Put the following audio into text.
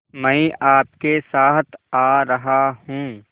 मैं आपके साथ आ रहा हूँ